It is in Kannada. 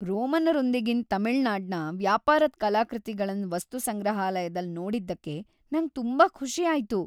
ರೋಮನ್ನರೊಂದಿಗಿನ್ ತಮಿಳುನಾಡ್ನ ವ್ಯಾಪಾರದ್ ಕಲಾಕೃತಿಗಳನ್ ವಸ್ತುಸಂಗ್ರಹಾಲಯದಲ್ ನೋಡಿದ್ದಕ್ಕೆ ನಂಗ್ ತುಂಬಾ ಖುಷಿ ಆಯ್ತು.